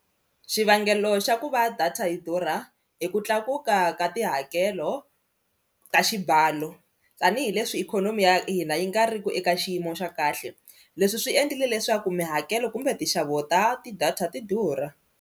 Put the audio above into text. Xivangelo xa ku va data yi durha hi ku tlakuka ka tihakelo ta xibalo tanihileswi ikhonomi ya hina yi nga ri ki eka xiyimo xa kahle leswi swi endlile leswaku mihakelo kumbe tinxavo ta ti-data ti durha.